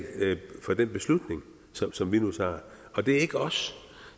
for den beslutning som vi nu træffer og det er ikke os